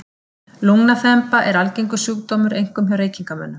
Lungnaþemba er algengur sjúkdómur, einkum hjá reykingamönnum.